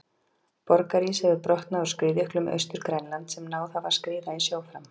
Borgarís hefur brotnað úr skriðjöklum Austur-Grænlands sem náð hafa að skríða í sjó fram.